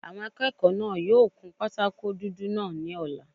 Àwọn akẹ́kọ̀ọ́ náà yóò kun pátákó dúdú náà ní ọ̀la